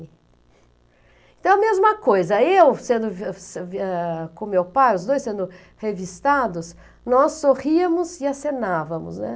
Então é a mesma coisa, eu sendo com meu pai, os dois sendo revistados, nós sorríamos e acenávamos, né?